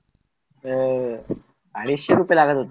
अं अडीशे रुपये लागणार होता